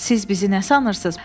Siz bizi nə sanırsınız?